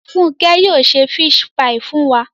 Funke yóò se fisi paii fun wa